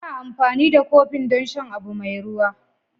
Ana amfani da kofin don shan abu mai ruwa.